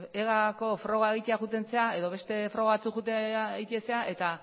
egako froga egitea joaten zara edo beste froga batzuk egitera joaten zara eta